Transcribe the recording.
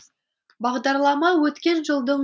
бағдарлама өткен жылдың